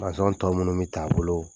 tɔw mana min t'a bolo.